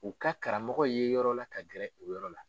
U ka karamɔgɔ ye yɔrɔ la ka gɛrɛ o yɔrɔ la